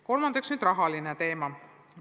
Kolmas on rahateema.